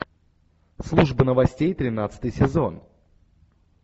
служба новостей тринадцатый сезон